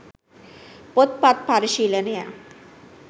පොත් පත් පරිශීලනය